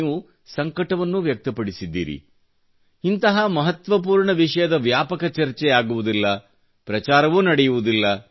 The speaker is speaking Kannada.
ನೀವು ಸಂಕಟವನ್ನೂ ವದಕ್ತಪಡಿಸಿದ್ದೀರಿ ಇಂತಹ ಮಹಲ್ವಪೂರ್ಣ ವಿಷಯದ ವ್ಯಾಪಕ ಚರ್ಚೆಯಾಗುವುದಿಲ್ಲ ಮತ್ತು ಪ್ರಚಾರವೂ ನಡೆಯುವುದಿಲ್ಲ